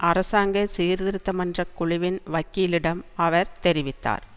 அரசாங்க சீர்திருத்த மன்ற குழுவின் வக்கீலிடம் அவர் தெரிவித்தார்